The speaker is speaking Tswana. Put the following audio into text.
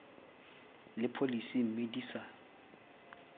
le pholesi mme di sa